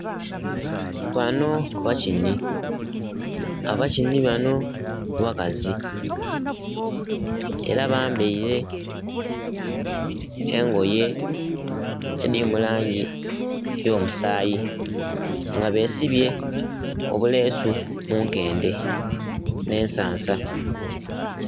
Banho bakinhi, abakinhi banho bakazi era bambaire engoye edhiri mu langi eyo musayi nga besibye obuleesu munkendhe nhe ensansa.